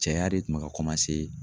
Cɛya de tun bɛ ka